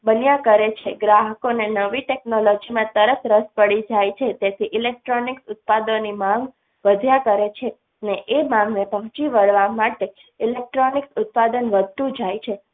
બધા કરે છે ગ્રાહકોને નવી technology તરત રસ પડી જાય છે તેથી electronic ઉત્પાદનની માંગ વધ્યા કરે છે ને એ માગને પહોંચી વળવા માટે electronic ઉત્પાદન વધતું જાય છે